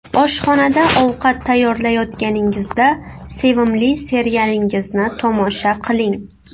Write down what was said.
Oshxonada ovqat tayyorlayotganingizda sevimli serialingizni tomosha qiling.